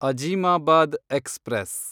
Azimabad express